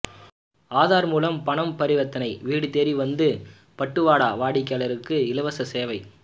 ஆதார் மூலம் பணம் பரிவர்த்தனை வீடுதேடி வந்து பட்டுவாடா வாடிக்கையாளருக்கு இலவச சேவை